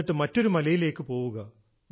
എന്നിട്ട് മറ്റൊരു മലയിലേക്ക് പോവുക